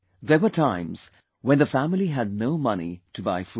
There were times when the family had no money to buy food